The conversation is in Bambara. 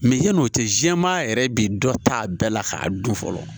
yan'o tɛ jɛman yɛrɛ bi dɔ ta a bɛɛ la k'a dun fɔlɔ